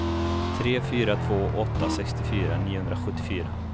tre fyra två åtta sextiofyra niohundrasjuttiofyra